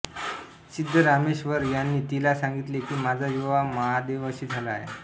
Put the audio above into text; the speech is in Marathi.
सिद्धरामेश्वर यांनी तिला सागितले की माझा विवाह महादेवाशी झाला आहे